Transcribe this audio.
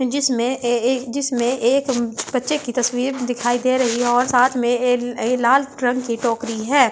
जिसमें ऐं ये ये जिसमें एक बच्‍चे की तस्‍वीर दिखाई दे रही है और साथ में ये ला ये लाल ट्रंग की टोकरी है।